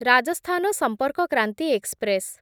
Rajasthan Sampark Kranti express